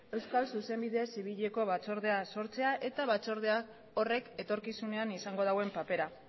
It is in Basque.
euskal zuzenbide zibileko batzordea sortzea eta batzorde horrek etorkizunean izango duen papera